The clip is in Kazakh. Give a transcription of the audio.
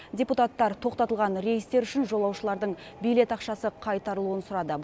депутаттар тоқтатылған рейстер үшін жолаушылардың билет ақшасы қайтарылуын сұрады